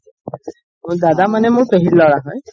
দাদা মানে মোৰ পেহিৰ লৰা হয়